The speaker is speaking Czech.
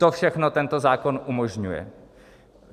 To všechno tento zákon umožňuje.